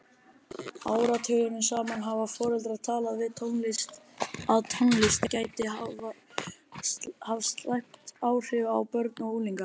Áratugum saman hafa foreldrar talið að tónlist gæti haft slæm áhrif á börn og unglinga.